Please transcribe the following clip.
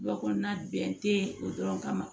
Jɔ kɔnɔna bɛn te o dɔrɔn kama